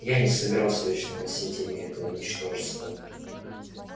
я не собирался вечно носить имя этого ничтожества моего магловского папочки